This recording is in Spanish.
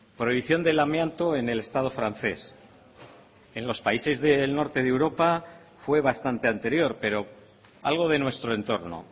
prohibición del amianto en el estado francés en los países del norte de europa fue bastante anterior pero algo de nuestro entorno